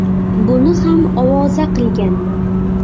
Buni ham ovoza qilganman.